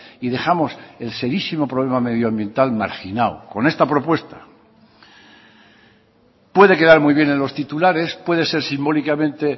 y dejamos el serísimo problema medioambiental marginado con esta propuesta puede quedar muy bien en los titulares puede ser simbólicamente